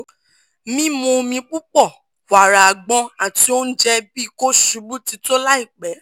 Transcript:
mimu omi pupọ wara agbon ati ounjẹ bi ko ṣubu ti to laipe